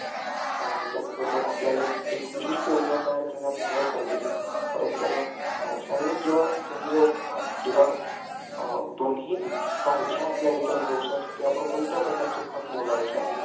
त्याचबरोबर आपल्याला एक विशिष्ट योजना तयार करण्यात मदत करते, परंतु दोन्ही सारख्या आपल्या कोणते आपण खत निवडायचे आहे.